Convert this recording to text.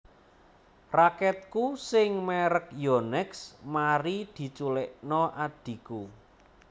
Raketku sing merk Yonex mari dicuklekno adhiku